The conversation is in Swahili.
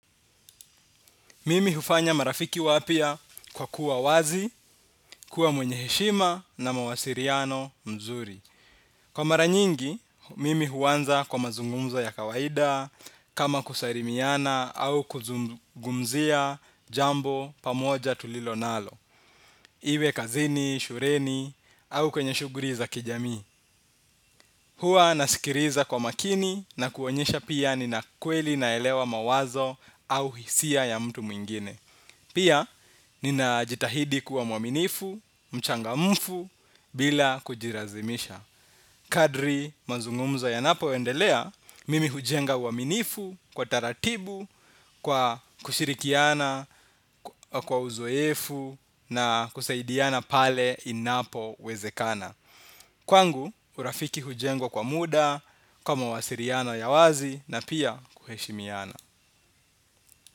Mimi hufanya marafiki wapya kwa kuwa wazi, kuwa mwenye heshima na mawasiliano mzuri. Kwa mara nyingi, mimi huanza kwa mazungumzo ya kawaida, kama kusalimiana au kuzungumzia jambo pamoja tulilo nalo. Iwe kazini, shuleni au kwenye shughuli za kijamii. Huwa nasikiliza kwa makini na kuonyesha pia nina kweli naelewa mawazo au hisia ya mtu mwingine. Pia, ninajitahidi kuwa mwaminifu, mchangamfu, bila kujilazimisha. Kadiri mazungumzo yanapoendelea, mimi hujenga uaminifu kwa taratibu, kwa kushirikiana, kwa uzoefu, na kusaidiana pale inapowezekana. Kwangu, urafiki hujengwa kwa muda, kwa mawasiliano ya wazi, na pia kuheshimiana.